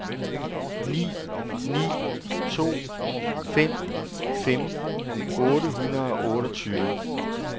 ni ni to fem femten otte hundrede og otteogtyve